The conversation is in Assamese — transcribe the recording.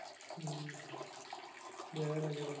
বেয়া লাগে বহুত।